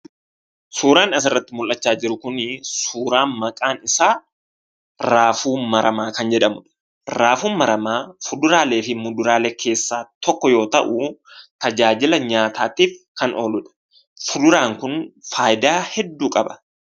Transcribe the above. Suuraan asirratti mul'achaa jiru kunii suuraa maqaan isaa raafuu maramaa kan jedhamudha. Raafuun maramaa fuduraalee fi muduraalee keessaa tokko yoo ta'uu tajaajila nyaataatif kan ooludha. Suuraan kun faayidaa hedduu qaba.